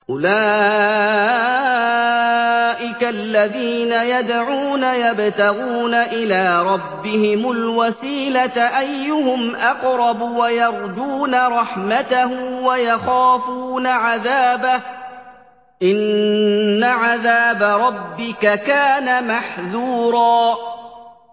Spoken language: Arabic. أُولَٰئِكَ الَّذِينَ يَدْعُونَ يَبْتَغُونَ إِلَىٰ رَبِّهِمُ الْوَسِيلَةَ أَيُّهُمْ أَقْرَبُ وَيَرْجُونَ رَحْمَتَهُ وَيَخَافُونَ عَذَابَهُ ۚ إِنَّ عَذَابَ رَبِّكَ كَانَ مَحْذُورًا